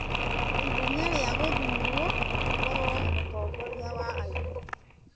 na ithenya rĩa gũthuurũo gũkorwo mũtongoria wa aingĩ .